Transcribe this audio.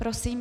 Prosím.